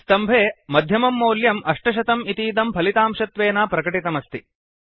स्तम्भे कोलम् मध्ये मध्यमं मौल्यं 800 इतीदं फलितांशत्वेन प्रकटितमस्ति